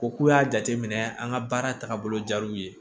Ko k'u y'a jateminɛ an ka baara taagabolo jar'u ye